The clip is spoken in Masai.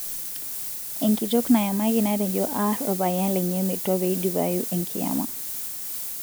Enkitok nayamaki natejo ar opayian lenye metwa peidipayu enkiyama.